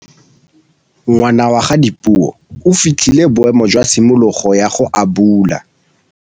Ngwana wa Dipuo o fitlhile boêmô jwa tshimologô ya go abula.